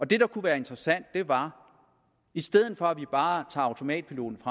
det der kunne være interessant var i stedet for at vi bare automatpiloten